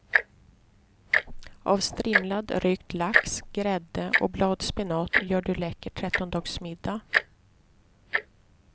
Av strimlad rökt lax, grädde och bladspenat gör du läcker trettondagsmiddag.